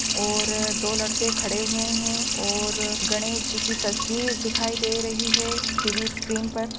और दो लड़के खड़े हुए है और गणेश जी कि तस्वीर दिखाई दे रही है टी_वी स्क्रीन पर।